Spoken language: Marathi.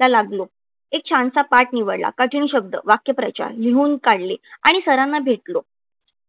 ला लागलो. एक छानसा पाठ निवडला. कठीण शब्द, वाक्यप्रचार लिहून काढले आणि सरांना भेटलो.